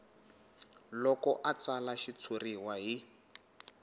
loko a tsala xitshuriwa hi